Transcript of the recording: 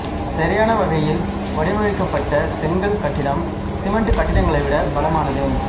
சரியான வகையில் வடிவமைக்கப்பட்ட செங்கல் கட்டிடம் சிமெண்ட் கட்டிடங்களை விட பலமானது